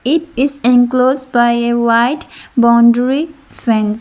it is enclosed by a white boundary fence.